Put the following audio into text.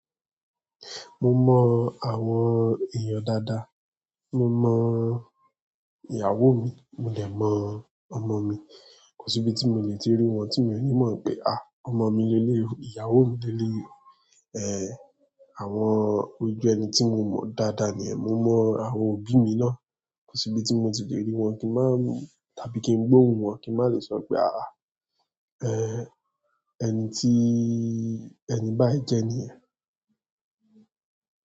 Mo mọ àwọn èèyàn dáadáa. Mo mọ ìyàwó mi, mo lè mọ ọmọ mi. Kò síbi tí mo le ti rí wọn tí mi ò ní mọ̀ pé, ah ọmọ mi ni léwu, ìyàwó mi ni eleyi ehn, àwọn ojú ẹni tí mo mọ̀ dáadáa ni ẹ. Mo mọ àwọn òbí mi ná. Kò síbi tí mo ti lè rí wọn kí n má tàbí kí n gbóhun wọn kí n má lè sọ pé àh, eh ẹni tí ẹni báyìí jẹ ní yen.